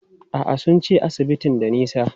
A'a, sun ce asibitin da nisa.